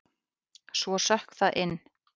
Svo sökk það inn.